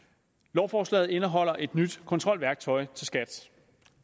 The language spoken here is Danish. lovforslaget indeholder et nyt kontrolværktøj til skat